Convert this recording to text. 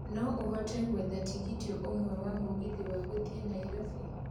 No ũhote gwetha tigiti ũmwe wa mũgithi wa gũthiĩ nairobi